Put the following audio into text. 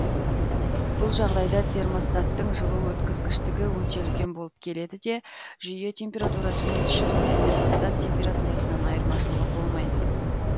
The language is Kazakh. бұл жағдайда термостаттың жылу өткізгіштігі өте үлкен болып келеді де жүйе температурасының іс жүзінде термостат температурасынан айырмашылығы болмайды